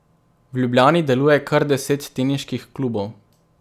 V Ljubljani deluje kar deset teniških klubov.